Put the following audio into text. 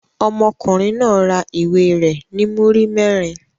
Ọmọkùnrin náà ra ìwé rẹ̀ ní múrí mẹ́rin.